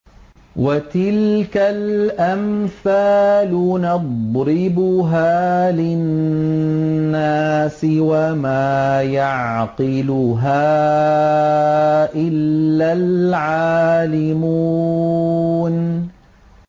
وَتِلْكَ الْأَمْثَالُ نَضْرِبُهَا لِلنَّاسِ ۖ وَمَا يَعْقِلُهَا إِلَّا الْعَالِمُونَ